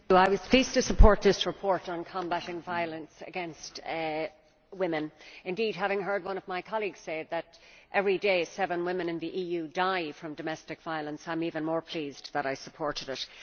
Madam President, I was pleased to support this report on combating violence against women. Indeed, having heard one of my colleagues say that every day seven women in the EU die from domestic violence, I am even more pleased that I supported it.